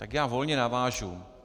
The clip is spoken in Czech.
Tak já volně navážu.